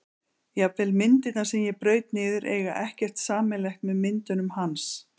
Jafnvel myndirnar sem ég braut niður eiga ekkert sameiginlegt með myndunum hans.